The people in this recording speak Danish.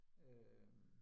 Øh